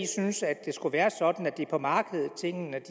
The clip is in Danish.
syntes at det skulle være sådan at det er på markedet tingene